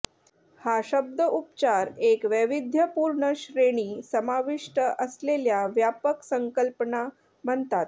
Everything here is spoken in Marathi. हा शब्द उपचार एक वैविध्यपूर्ण श्रेणी समाविष्ट असलेल्या व्यापक संकल्पना म्हणतात